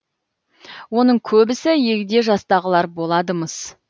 оның көбісі егде жастағылар болады мыс